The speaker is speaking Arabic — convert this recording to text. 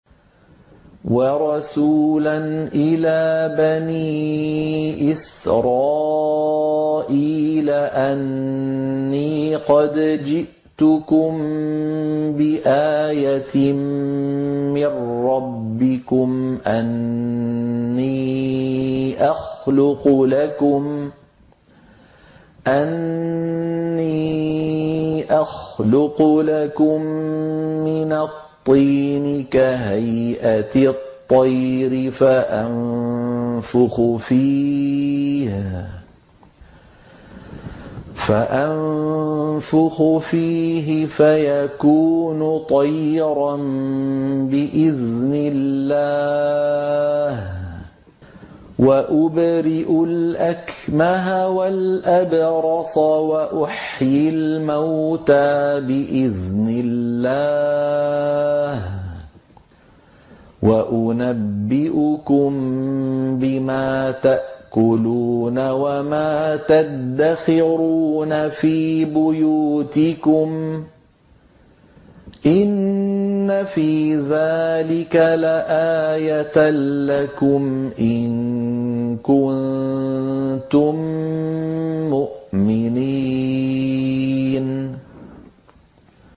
وَرَسُولًا إِلَىٰ بَنِي إِسْرَائِيلَ أَنِّي قَدْ جِئْتُكُم بِآيَةٍ مِّن رَّبِّكُمْ ۖ أَنِّي أَخْلُقُ لَكُم مِّنَ الطِّينِ كَهَيْئَةِ الطَّيْرِ فَأَنفُخُ فِيهِ فَيَكُونُ طَيْرًا بِإِذْنِ اللَّهِ ۖ وَأُبْرِئُ الْأَكْمَهَ وَالْأَبْرَصَ وَأُحْيِي الْمَوْتَىٰ بِإِذْنِ اللَّهِ ۖ وَأُنَبِّئُكُم بِمَا تَأْكُلُونَ وَمَا تَدَّخِرُونَ فِي بُيُوتِكُمْ ۚ إِنَّ فِي ذَٰلِكَ لَآيَةً لَّكُمْ إِن كُنتُم مُّؤْمِنِينَ